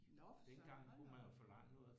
Nåh for søren hold da op